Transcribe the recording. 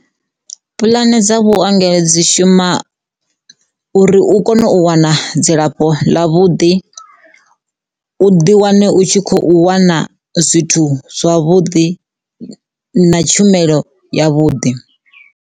Puḽane dza vhuongelo dzi shuma uri u kone u wana dzilafho ḽa vhuḓi u ḓi wane u tshi khou wana zwithu zwavhuḓi na tshumelo ya vhuḓi.